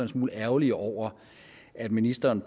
smule ærgerlige over at ministeren